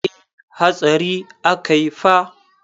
E, hatsari akai fa.